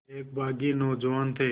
एक बाग़ी नौजवान थे